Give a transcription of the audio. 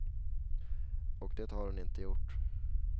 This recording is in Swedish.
Och det har hon inte gjort.